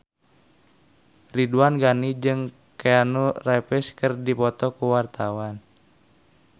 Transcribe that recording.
Ridwan Ghani jeung Keanu Reeves keur dipoto ku wartawan